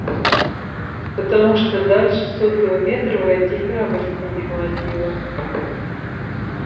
потому что дальше сотого метра войти храбрости не хватило